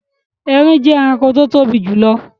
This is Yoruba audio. Ẹrìn jẹ ẹ̀ràṇkò tí o tobi jùlọ̀.